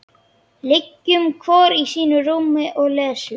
Liggjum hvor í sínu rúmi og lesum.